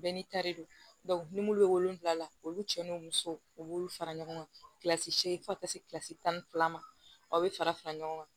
Bɛɛ n'i ta de don ni mlu bɛ wolonwula la olu cɛ ni musow u b'olu fara ɲɔgɔn kan kilasi seegin fo ka taa se kilasi tan ni fila ma aw bɛ fara fara ɲɔgɔn kan